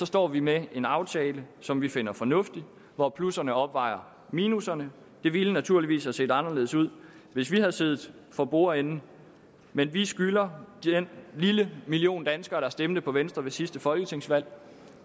står vi med en aftale som vi finder fornuftig og hvor plusserne opvejer minusserne det ville naturligvis have set anderledes ud hvis vi havde siddet for bordenden men vi skylder den lille million danskere der stemte på venstre ved sidste folketingsvalg